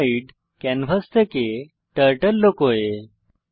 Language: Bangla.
স্প্রাইটহাইড ক্যানভাস থেকে টার্টল লুকোয়